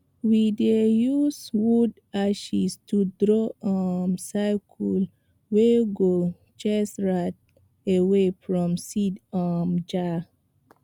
we dey use wood ashes to draw um circle wey go chase rat away from seed um jar